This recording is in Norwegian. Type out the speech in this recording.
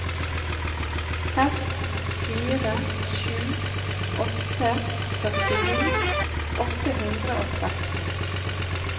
seks fire sju åtte førtini åtte hundre og tretten